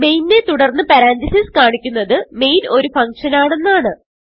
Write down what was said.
main നെ തുടർന്ന് parenthesis കാണിക്കുന്നത് മെയിൻ ഒരു ഫങ്ഷൻ ആണെന്നാണ്